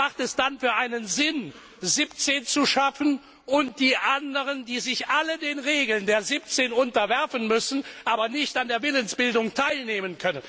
Was hat es dann für einen Sinn, 17 zu schaffen, aber die anderen, die sich alle den Regeln der 17 unterwerfen müssen, können nicht an der Willensbildung teilnehmen?